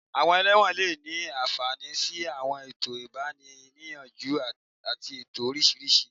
Àwọn ẹlẹ́wọ̀n lè ní àǹfààní sí àwọn ètò ìgbani-níyànjú àti ètò oríṣiríṣi